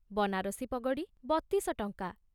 ବନାରସୀ ପଗଡ଼ି ବତିଶ ଟଙ୍କା